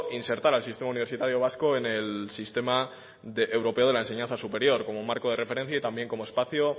insertar al sistema universitario vasco en el sistema europeo de la enseñanza superior como marco de referencia y también como espacio